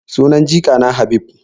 Sunan jikana Habib.